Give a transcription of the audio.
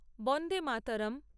বন্দেমাতরম